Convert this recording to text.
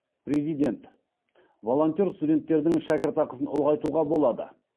президент волонтер студенттердің шәкіртақысын ұлғайтуға болады